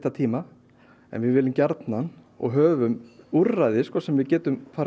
við viljum gjarnan og höfum úrræði sem við getum farið af stað með